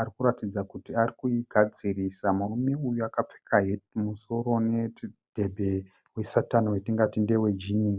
arikuratidza kuti arikuigadzirisa. Murume uyu akapfeka heti mumusoro nemudhebhe we Satani watingati ndewe jinhi.